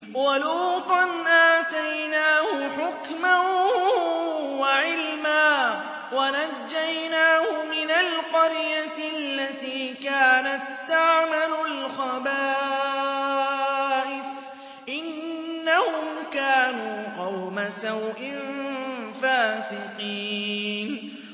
وَلُوطًا آتَيْنَاهُ حُكْمًا وَعِلْمًا وَنَجَّيْنَاهُ مِنَ الْقَرْيَةِ الَّتِي كَانَت تَّعْمَلُ الْخَبَائِثَ ۗ إِنَّهُمْ كَانُوا قَوْمَ سَوْءٍ فَاسِقِينَ